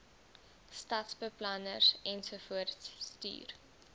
stadsbeplanners ensovoorts stuur